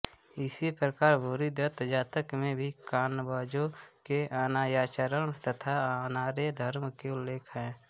इसी प्रकार भूरिदत्त जातक में भी कांबोजों के अनार्याचरण तथा अनार्य धर्म का उल्लेख है